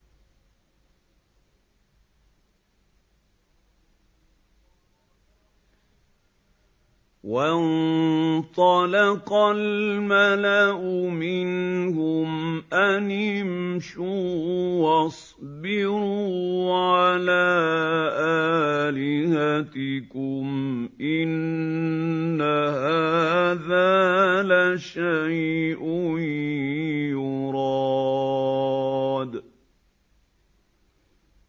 وَانطَلَقَ الْمَلَأُ مِنْهُمْ أَنِ امْشُوا وَاصْبِرُوا عَلَىٰ آلِهَتِكُمْ ۖ إِنَّ هَٰذَا لَشَيْءٌ يُرَادُ